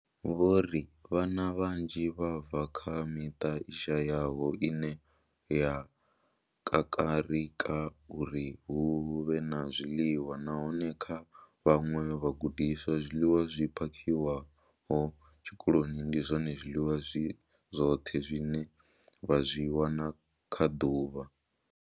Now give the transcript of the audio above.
Vho ri vhana vhanzhi vha bva kha miṱa i shayaho ine ya kakarika uri hu vhe na zwiḽiwa, nahone kha vhaṅwe vhagudiswa, zwiḽiwa zwi phakhiwaho tshikoloni ndi zwone zwiḽiwa zwi zwoṱhe zwine vha zwi wana kha ḓuvha.